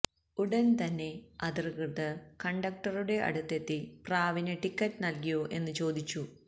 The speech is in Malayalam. ഉടൻതന്നെ അധികൃതർ കണ്ടക്ടറുടെ അടുത്തെത്തി പ്രാവിന് ടിക്കറ്റ് നൽകിയോ എന്നു ചോദിച്ചു